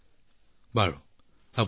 যাব দিয়ক বহুত ভাল লাগিল